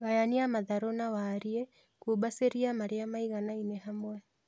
Gayania matharũ na warie, kumbacĩlia marĩa maiganaine hamwe